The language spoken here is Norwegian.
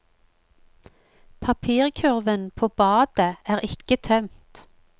Papirkurven på badet er ikke tømt.